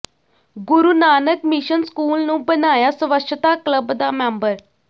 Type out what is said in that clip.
ਗੁਰੂ Nanak mission school ਨੂੰ ਬਣਾਇਆ ਸਵੱਛਤਾ ਕਲੱਬ ਦਾ ਮੈਂਬਰ